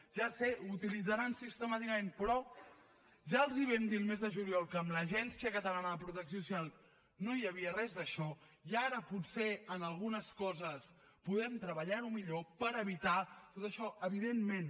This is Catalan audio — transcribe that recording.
ja ho sé ho utilitzaran sistemàticament però ja els vam dir el mes de juliol que amb l’agència catalana de protecció social no hi havia res d’això i ara potser en algunes coses podem treballar ho millor per evitar tot això evidentment